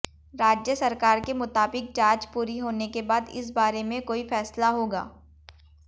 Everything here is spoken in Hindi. राज्य सरकार के मुताबिक जांच पूरी होने के बाद इस बारे में कोई फैसला होगा